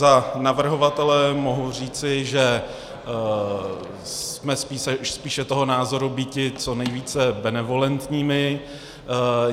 Za navrhovatele mohu říci, že jsme spíše toho názoru býti co nejvíce benevolentními.